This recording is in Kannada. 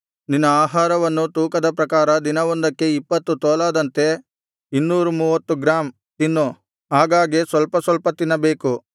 ನಿನ್ನ ಆಹಾರವನ್ನು ತೂಕದ ಪ್ರಕಾರ ದಿನವೊಂದಕ್ಕೆ ಇಪ್ಪತ್ತು ತೊಲಾದಂತೆ 230 ಗ್ರಾಂ ತಿನ್ನು ಆಗಾಗ್ಗೆ ಸ್ವಲ್ಪ ಸ್ವಲ್ಪ ತಿನ್ನಬೇಕು